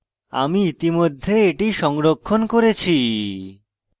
আমি ইতিমধ্যে এটি সংরক্ষণ করেছি